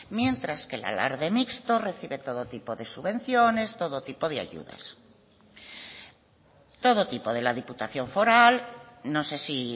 mientras que el alarde mixto recibe todo tipo de subvenciones todo tipo de ayudas todo tipo de la diputación foral no sé si